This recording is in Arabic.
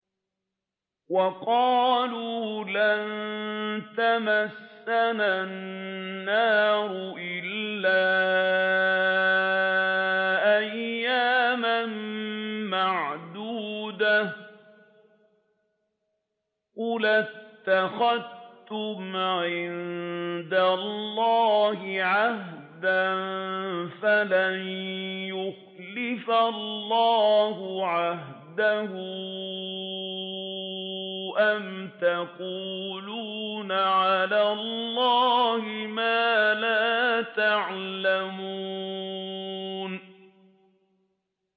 وَقَالُوا لَن تَمَسَّنَا النَّارُ إِلَّا أَيَّامًا مَّعْدُودَةً ۚ قُلْ أَتَّخَذْتُمْ عِندَ اللَّهِ عَهْدًا فَلَن يُخْلِفَ اللَّهُ عَهْدَهُ ۖ أَمْ تَقُولُونَ عَلَى اللَّهِ مَا لَا تَعْلَمُونَ